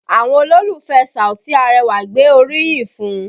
Àwọn olólùfẹ́ Saoti Arẹwà gbé orí yìn fún un